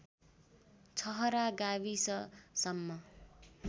छहरा गाविससम्म